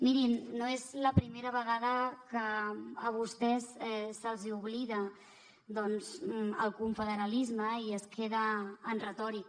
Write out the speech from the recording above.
mirin no és la primera vegada que a vostès se’ls oblida doncs el confederalisme i es queda en retòrica